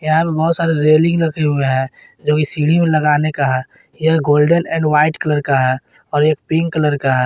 यहां पे बहोत सारे रेलिंग रखे हुए हैं जो की सीढ़ी में लगाने का है यह गोल्डन एंड व्हाइट कलर का है और एक पिंक कलर का है।